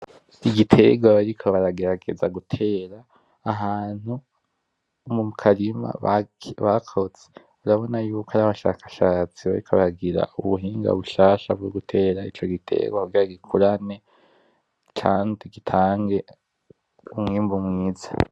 Iki giterwa bariko baragerageza gutera ahantu mu karima bakoze. Urabona yuko ari abashakashatsi bariko bagira ubuhinga bushasha bwo gutera ico gitegwa, kugira gikurane kandi gitange umwimbu mwiza.